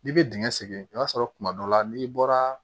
N'i bɛ dingɛ segin i b'a sɔrɔ kuma dɔ la n'i bɔra